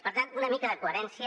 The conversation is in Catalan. per tant una mica de coherència